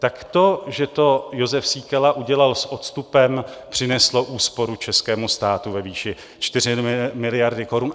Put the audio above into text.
Tak to, že to Jozef Síkela udělal s odstupem, přineslo úsporu českému státu ve výši 4 miliardy korun.